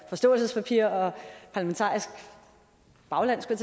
forståelsespapir og parlamentarisk bagland skulle